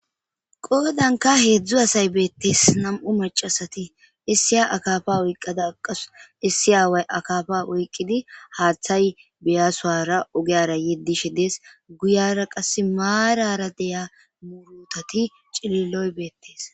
qoodanka heedzdzu asay beettees nam7u macasati issi a akafa oyqqada aqasu issi aaway akafa oyqqidi haaththay beyasoara ogeyara yeddishe dees guyara qass maarara deya murutati cililoy beettees